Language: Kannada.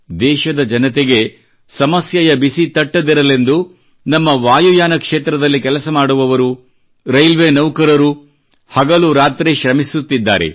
ದೇಶದ ಜನತೆಗೆ ಸಮಸ್ಯೆಯ ಬಿಸಿ ತಟ್ಟದಿರಲೆಂದು ನಮ್ಮ ವಾಯುಯಾನ ಕ್ಷೇತ್ರದಲ್ಲಿ ಕೆಲಸ ಮಾಡುವವರು ರೈಲ್ವೆ ನೌಕರರು ಹಗಲು ರಾತ್ರಿ ಶ್ರಮಿಸುತ್ತಿದ್ದಾರೆ